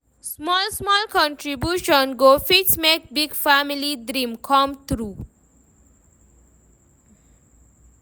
Small-small contribution go fit make big family dream come true.